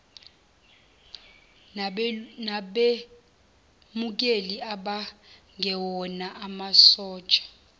nabemukeli abangewona amasosha